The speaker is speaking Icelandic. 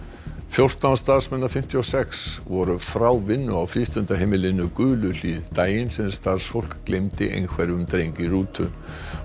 fjórtán starfsmenn af fimmtíu og sex voru frá vinnu á frístundaheimilinu daginn sem starfsfólk gleymdi einhverfum dreng í rútu